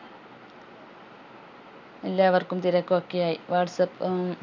എല്ലാവർക്കും തിരക്കൊക്കെയായി whatsapp ഉം